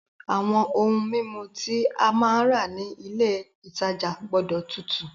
Àwọn ohun mímu tí a máa rà ní ilé ìtajà gbọ́dọ̀ tutù.